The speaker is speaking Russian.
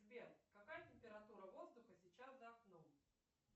сбер какая температура воздуха сейчас за окном